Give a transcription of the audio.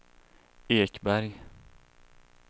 Ekberg